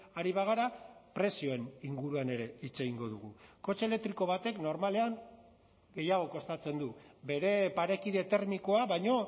ari bagara prezioen inguruan ere hitz egingo dugu kotxe elektriko batek normalean gehiago kostatzen du bere parekide termikoa baino